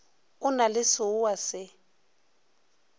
o na le seoa se